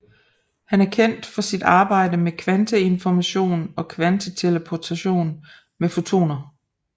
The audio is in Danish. Han er kendt for sit arbejde med kvanteinformation og kvanteteleportation med fotoner